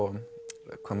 hvað